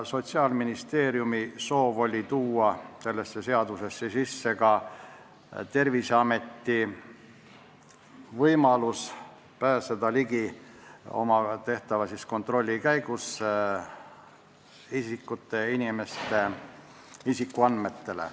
Sotsiaalministeeriumi soov oli luua selles seaduses Terviseametile võimalus pääseda oma tehtava kontrolli käigus ligi inimeste isikuandmetele.